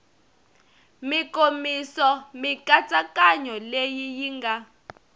mikomiso mikatsakanyo leyi yi nga